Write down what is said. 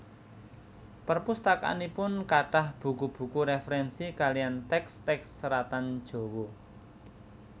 Perpustakaanipun kathah buku buku referensi kalian teks teks seratan Jawa